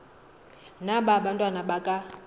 na abantwana baka